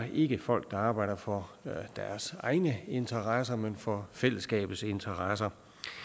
er ikke folk der arbejder for deres egne interesser men for fællesskabet interesser